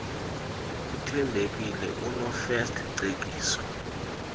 uthembekile nonofirst cekiso